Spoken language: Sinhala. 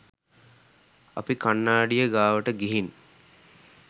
අපි කන්නාඩිය ගාවට ගිහින්